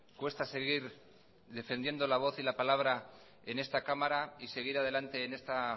cuesta seguir defendiendo la voz y la palabra en esta cámara y seguir adelante en esta